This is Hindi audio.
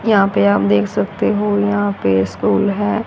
यहां पे आप देख सकते हो यहां पे स्कूल है।